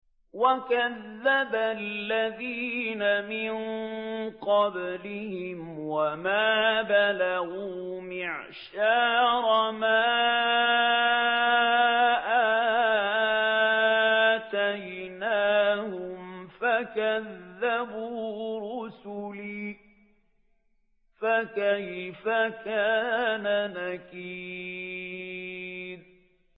وَكَذَّبَ الَّذِينَ مِن قَبْلِهِمْ وَمَا بَلَغُوا مِعْشَارَ مَا آتَيْنَاهُمْ فَكَذَّبُوا رُسُلِي ۖ فَكَيْفَ كَانَ نَكِيرِ